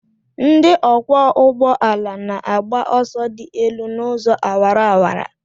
Ndị ọkwọ ụgbọala na-agba ọsọ dị elu n'ụzọ awara awara.